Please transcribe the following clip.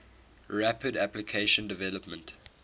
rapid application development